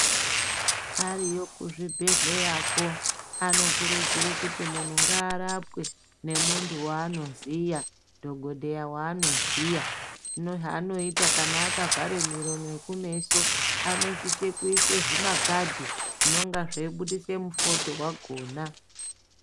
Ariyo kuzvibhedhleyako anokurudzirwe kuti munhu ngaarapwe ngemuntu waanoziya dhokodheya waanoziya hino haanoita kana akavhare muromo nekumeso anosise kuise zvimakadhi zvinenga zveibudise mufodho wakhona.